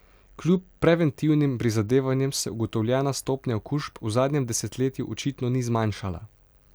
Kljub preventivnim prizadevanjem se ugotovljena stopnja okužb v zadnjem desetletju očitno ni zmanjšala.